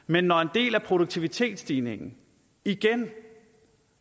men når en del af produktivitetsstigningen igen